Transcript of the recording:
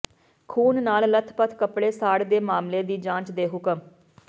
ਖੂਨ ਨਾਲ ਲੱਥਪੱਥ ਕੱਪੜੇ ਸਾੜ ਦੇ ਮਾਮਲੇ ਦੀ ਜਾਂਚ ਦੇ ਹੁਕਮ